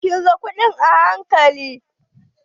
Kirga kuɗin a hankali.